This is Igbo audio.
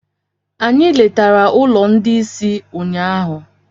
Anyị letara ụlọ ndị ìsì ụnyaahụ.